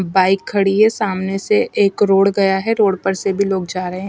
Bike खड़ी है सामने से एक रोड गया है रोड पर से भी लोग जा रहे हैं।